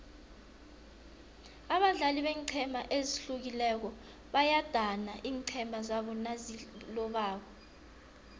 abadlali beenqhema ezihlukileko bayadana iinqhema zabo nazilobako